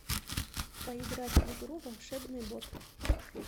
поиграть в игру волшебный бот